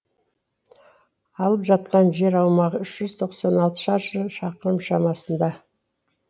алып жатқан жер аумағы үш жүз тоқсан алты шаршы шақырым шамасында